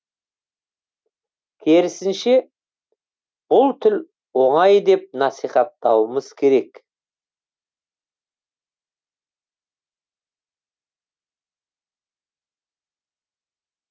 керісінше бұл тіл оңай деп насихаттауымыз керек